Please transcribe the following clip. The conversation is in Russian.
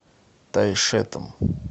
тайшетом